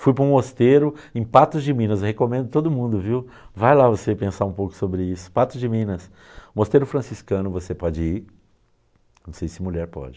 Fui para um mosteiro em Patos de Minas, recomendo a todo mundo viu, vai lá você pensar um pouco sobre isso, Patos de Minas, mosteiro franciscano, você pode ir, não sei se mulher pode.